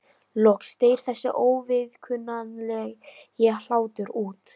Loks deyr þessi óviðkunnanlegi hlátur út.